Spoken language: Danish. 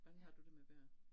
Hvordan har du det med bøger?